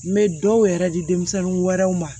N bɛ dɔw yɛrɛ di denmisɛnnin wɛrɛw ma